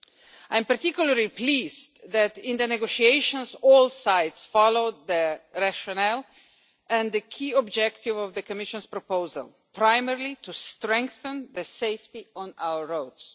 I am particularly pleased that in the negotiations all sides followed the rationale and the key objective of the Commission's proposal, primarily to strengthen the safety on our roads.